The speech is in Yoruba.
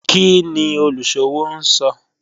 Kini oluṣowo n sọ?